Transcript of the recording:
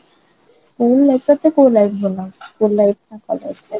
school life ଟା school life ଟା ଭଲ